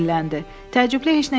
Təəccüblü heç nə yoxdur.